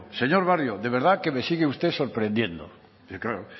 señor barrio de verdad que me sigue usted sorprendiendo claro